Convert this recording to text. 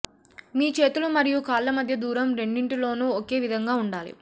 మీ చేతులు మరియు కాళ్ళ మధ్య దూరం రెండింటిలోనూ ఒకే విధంగా ఉండాలి